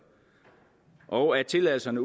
og at tilladelserne